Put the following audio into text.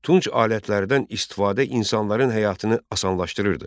Tunç alətlərdən istifadə insanların həyatını asanlaşdırırdı.